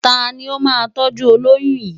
Ta ni ó máa tọ́jú olóyún yìí?